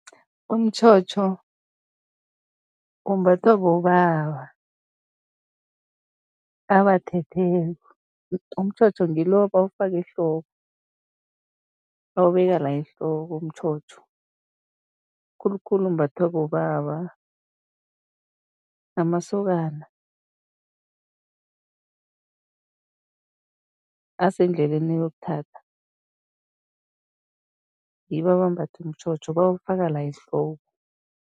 Umtjhotjho umbathwa bobaba abathetheko, umtjhotjho ngilo ebawufaka ehloko, bawubeka la ehloko umtjhotjho. Khulukhulu umbathwa bobaba namasokana asendleleni eyokuthatha, ngibo abambatha umtjhotjho, bawufaka la ehloko.